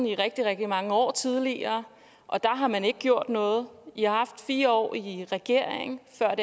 i rigtig rigtig mange år tidligere og der har man ikke gjort noget i har haft fire år i regering før